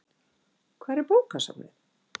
Hvar er bókasafnið?